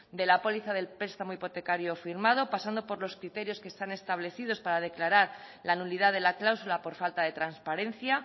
de la póliza del prestamo hipotecario firmado pasando por los criterios que están establecidos para declarar la nulidad de la cláusula por falta de transparencia